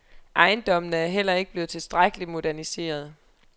Ejendommene er heller ikke blevet tilstrækkeligt moderniserede.